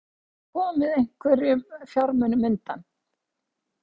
Fréttamaður: Hefur þú komið einhverjum fjármunum undan?